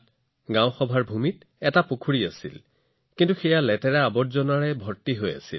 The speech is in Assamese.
গ্ৰাম পঞ্চায়তৰ ভূমিত এটা পুখুৰী আছিল কিন্তু ই লেতেৰা আৰু আৱৰ্জনাৰে ভৰা আছিল